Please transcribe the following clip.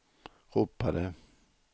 ropade